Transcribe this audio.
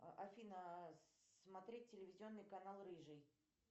афина смотреть телевизионный канал рыжий